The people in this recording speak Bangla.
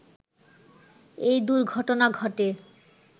এই দুর্ঘটনা ঘটে